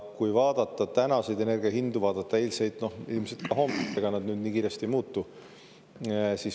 Kui vaadata tänaseid energia hindu, vaadata eilseid ja ilmselt ka homset, siis ega need kiiresti ei muutu.